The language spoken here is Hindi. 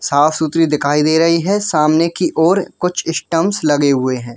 साफ-सुथरी दिखाई दे रहे हैं सामने की और कुछ स्टंप लगे हुए हैं।